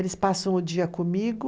Eles passam o dia comigo.